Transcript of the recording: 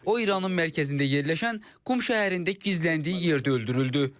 O İranın mərkəzində yerləşən Qum şəhərində gizləndiyi yerdə öldürüldü.